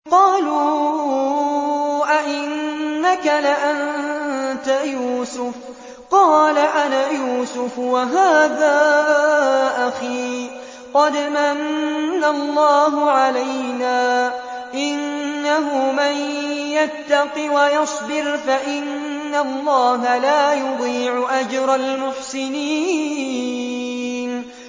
قَالُوا أَإِنَّكَ لَأَنتَ يُوسُفُ ۖ قَالَ أَنَا يُوسُفُ وَهَٰذَا أَخِي ۖ قَدْ مَنَّ اللَّهُ عَلَيْنَا ۖ إِنَّهُ مَن يَتَّقِ وَيَصْبِرْ فَإِنَّ اللَّهَ لَا يُضِيعُ أَجْرَ الْمُحْسِنِينَ